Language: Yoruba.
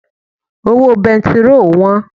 Owó bẹntiróò wọ́n.